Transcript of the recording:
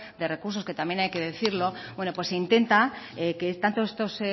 de recursos que también hay que decirlo bueno pues se intenta que tanto estos